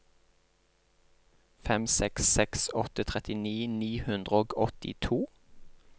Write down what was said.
fem seks seks åtte trettini ni hundre og åttito